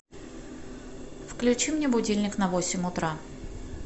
включи мне будильник на восемь утра